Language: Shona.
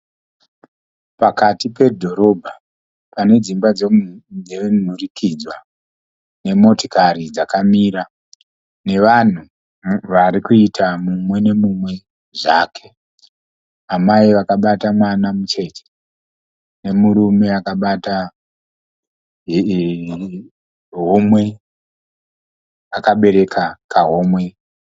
Pakati pedhorobha, pane dzimba dzenhurikidzwa, nemotokari dzakamira, nevanhu vari kuita mumwe nomumwe zvake, amai vakabata mwana mucheche, nomurume akabata homwe akabereka kahomwe.